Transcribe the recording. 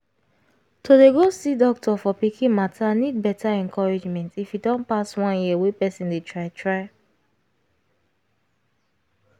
to dey go see doctor for pikin matter need better encouragement if e don pass one year wey person dey try try